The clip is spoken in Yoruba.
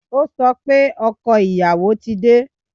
O sọ pé ọkọ ìyàwó ti dé